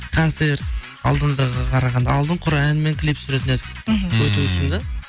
концерт алдыңғыға қарағанда алдын құр ән мен клип түсіретін едік мхм ммм өту үшін да